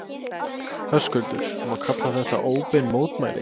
Höskuldur: Má kalla þetta óbein mótmæli?